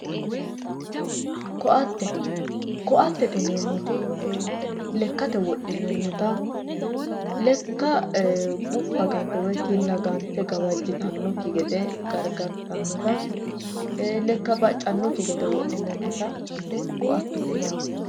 Koatte, koattete yineemmoti lekkate wodhinannitta lekka gufa gante woyi kinna gante gawajittanokki gede garigartanotta lekka baccanokki gede wodhinannitta ise koattete yinnanni.